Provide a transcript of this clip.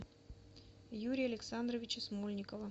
юрия александровича смольникова